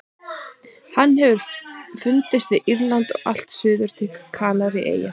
Hann hefur fundist við Írland og allt suður til Kanaríeyja.